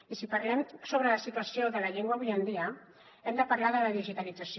i si parlem sobre la situació de la llengua avui en dia hem de parlar de la digitalització